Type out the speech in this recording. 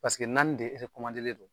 Paseke naani de len do.